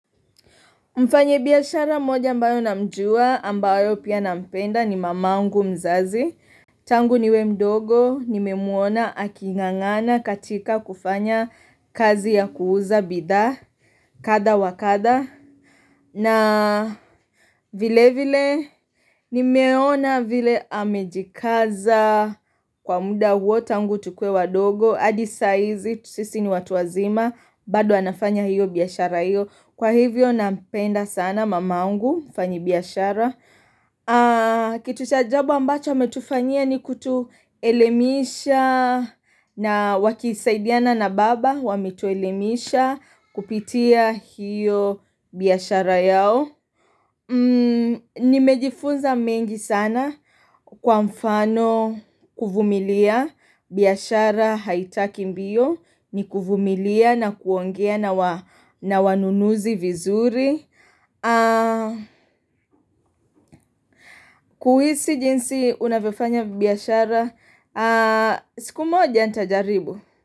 Mfanya biashara mmoja ambaye namjua ambaye pia nampenda ni mamangu mzazi. Tangu niwe mdogo, nimemwona aking'ang'ana katika kufanya kazi ya kuuza bidhaa kadha wa kadha. Na vilevile, nimeona vile amejikaza kwa muda huo tangu tukue wadogo, hadi saizi, sisi ni watu wazima, bado anafanya hiyo biashara hiyo. Kwa hivyo nampenda sana mamangu mfanyi biashara. Kitu cha ajabu ambacho ametufanyia ni kutuelemisha na wakisaidiana na baba wametuelemisha kupitia hiyo biashara yao Nimejifunza mengi sana kwa mfano kuvumilia, biashara haitaki mbio ni kuvumilia na kuongea na wanunuzi vizuri kuhisi jinsi unavyofanya biashara, siku moja nitajaribu.